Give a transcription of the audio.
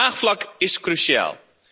Draagvlak is cruciaal.